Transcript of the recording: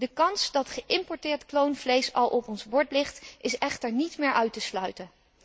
De kans dat geïmporteerd kloonvlees al op ons bord ligt, is echter niet meer uit te sluiten.